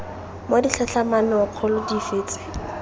mo ditlhatlhamanong kgolo dife tse